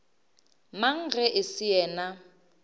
mang ge e se yena